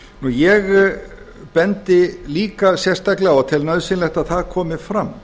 ég bendi líka sérstaklega á og tel nauðsynlegt að það komi fram